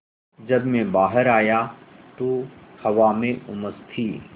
जब मैं बाहर आया तो हवा में उमस थी